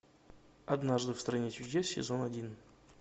однажды в стране чудес сезон один